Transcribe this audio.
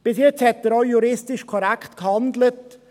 Bis jetzt hat er auch juristisch korrekt gehandelt.